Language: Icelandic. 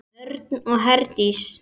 Örn og Herdís.